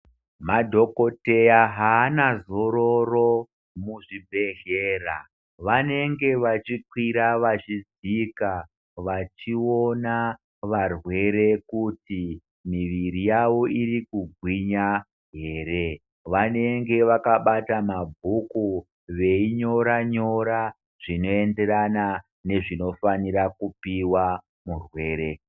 Madhokoteya haana zororo muzvibhedhlera vanenge vachikwira vachidzika vachiona varwere kuti muviri yavo irikugwinya ere vanenge vakabata mabhuku veinyora nyora zvinoenderana nezvinofanira kupihwa murwere.